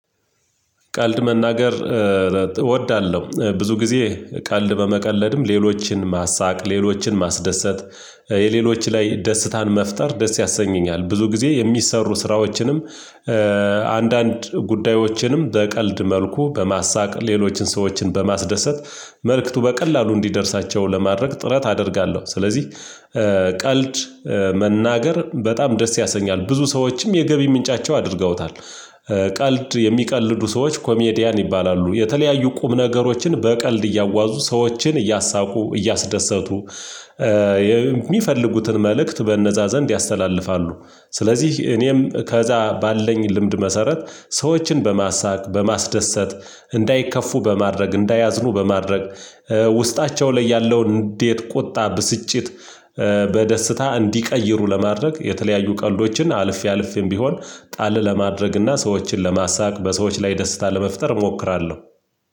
ቃልድ መናገር እወዳለሁ። ብዙ ጊዜ ቀልድ በመቀለድም ሌሎችን ማሳቅ ሌሎችን ማስደሰት የሌሎች ላይ ደስታን መፍጠር ደስ ያሰኘኛል። ብዙ ጊዜ የሚሰሩ ስራዎችንም አንዳንድ ጉዳዮችንም በቀልድ መልኩ በማሳቅ ሌሎችን ሰዎችን በማስደሰት መልእክቱ በቀላሉ እንዲደርሳቸው ለማድረግ ጥረት አደርጋለሁ። ስለዚህ ቀልድ መናገር በጣም ደስ ያሰኛል ብዙ ሰዎችም የገቢ ምንጫቸው አድርገውታል። ቀልድ የሚቀልዱ ሰዎች ኮሜዲያን ይባላሉ። የተለያዩ ቁም ነገሮችን በቀልድ እያዋዙ ሰዎችን እያሳቁ እያስደሰቱ የሚፈልጉትን መልእክት በነዛ ዘንድ ያስተላልፋሉ። ስለዚህ እኔም ከዛ ባለኝ ልምድ መሰረት ሰዎችን በማሳቅ በማስደሰት እንዳይከፉ በማድረግ እንዳያዝኑ በማድረግ ውስጣቸው ላይ ያለው እንዴት ቁጣ ብስጭት በደስታ እንዲቀይሩ ለማድረግ የተለያዩ ቀልዶችን አልፌ አልፌም ቢሆን ጣል ለማድረግና ሰዎችን ለማሳካት በሰዎች ላይ ደስታ ለመፍጠር እሞክራለሁ።